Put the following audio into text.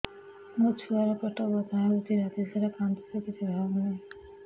ମୋ ଛୁଆ ର ପେଟ ବଥା ହଉଚି ରାତିସାରା କାନ୍ଦୁଚି କିଛି ଖାଉନି